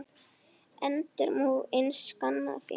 Endrum og eins saknað þín.